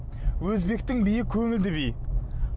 өзбектің биі көңілді би